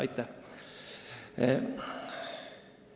Aitäh!